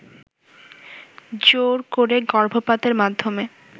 জোর করে গর্ভপাতের মাধ্যমে